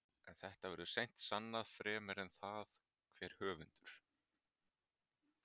En þetta verður seint sannað fremur en það hver höfundur